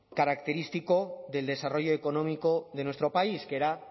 característico del desarrollo económico de nuestro país que era